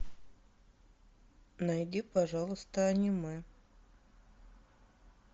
найди пожалуйста аниме